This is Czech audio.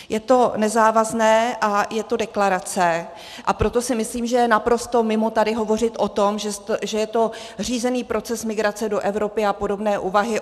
Je to nezávazné a je to deklarace, a proto si myslím, že je naprosto mimo tady hovořit o tom, že je to řízený proces migrace do Evropy a podobné úvahy...